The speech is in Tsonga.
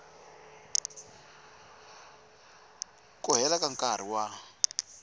ku leha ka nkarhi wa